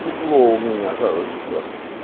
тепло у меня короче ещё